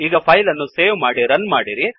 ಈಗ ಫೈಲ್ ಅನ್ನು ಸೇವ್ ಮಾಡಿ ಮತ್ತು ರನ್ ಮಾಡಿ